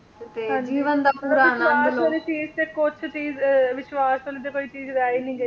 ਮਤਲਬ ਵਿਸ਼ਵਾਸ ਵਾਲੀ ਚੀਜ ਤੇ ਕੁਛ ਚੀਜ ਅਹ ਵਿਸ਼ਵਾਸ ਵਾਲੀ ਤਾਂ ਕੋਈ ਚੀਜ ਰਹਿ ਹੀ ਨਹੀਂ ਗਈ,